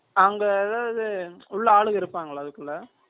அங்க ஏதாவது உள்ள ஆளுங்க இருப்பாங்களா அதுக்குள்ள